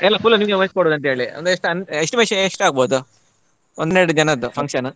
ಎಲ್ಲ full ನಿಮ್ಗೆ ವಹಿಸಿಕೊಡು ಅಂತೇಳಿ ಅಂದ್ರೆ ಎಷ್ಟ್ ಅನ್~ estimation ಎಷ್ಟಾಗಬೋದು ಒಂದೆರಡು ದಿನದ್ದು function .